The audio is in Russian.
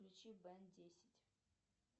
включи бен десять